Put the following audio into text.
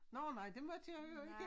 Nårh nej det måtte jeg jo ikke